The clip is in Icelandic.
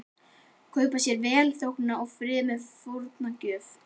Kaupa sér velþóknun og frið með fórnargjöf.